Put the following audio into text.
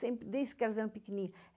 sempre desde que elas eram pequenininhas.